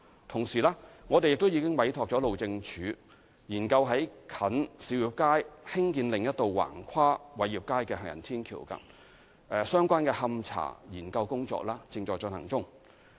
同時，我們並已委託路政署研究在近兆業街興建另一道橫跨偉業街的行人天橋，勘查研究正在進行中。